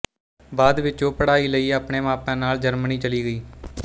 ਬਾਅਦ ਵਿੱਚ ਉਹ ਪੜ੍ਹਾਈ ਲਈ ਆਪਣੇ ਮਾਪਿਆਂ ਨਾਲ ਜਰਮਨੀ ਚਲੀ ਗਈ